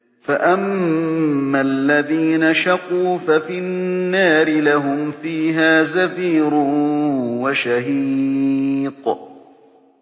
فَأَمَّا الَّذِينَ شَقُوا فَفِي النَّارِ لَهُمْ فِيهَا زَفِيرٌ وَشَهِيقٌ